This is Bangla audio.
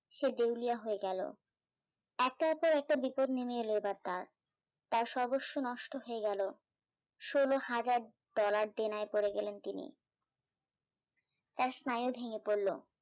সে দেউলিয়া হয়ে গেল একটার পর একটা বিপদ নেমে এল এবার তারঁ, তারঁ সর্বস্ব নষ্ট হয়ে গেল, ষোল হাজার ডলার দেনায় পড়ে গেলেন তিনি তারঁ স্নায়ু ভেঙে পড়ল